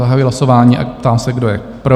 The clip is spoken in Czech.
Zahajuji hlasování a ptám se, kdo je pro?